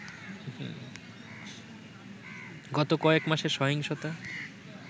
গত কয়েক মাসের সহিংসতা